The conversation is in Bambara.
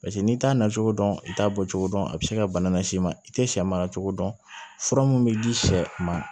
Paseke n'i t'a nacogo dɔn i t'a bɔ cogo dɔn a bɛ se ka bana lase i ma i tɛ sɛ mara cogo dɔn fura mun bɛ di sɛ ma